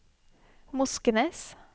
Moskenes